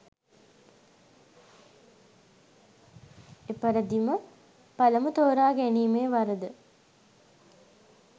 එපරිදිම පළමු තෝරා ගැනීමේ වරද